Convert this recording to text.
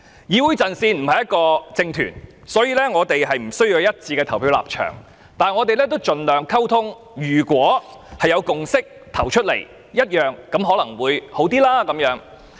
議會陣線不是一個政團，無須有一致的表決立場，但我們會盡量溝通，若能達成共識可能會好一點。